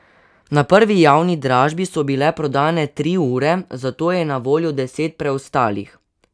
Na prvi javni dražbi so bile prodane tri ure, zato je na voljo deset preostalih.